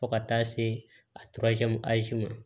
Fo ka taa se a ma